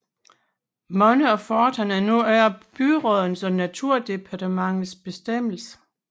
Mange af forterne er nu under byrådenes og naturdepartementets bestemmelse